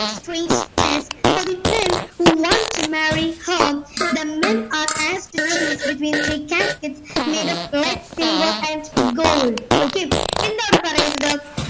for the men who wants to marry her the men are aptitude between the cascade made ofled silver and gold okay എന്താണ് പറയുന്നത്